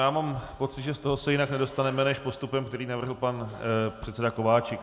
Já mám pocit, že z toho se jinak nedostaneme než postupem, který navrhl pan předseda Kováčik.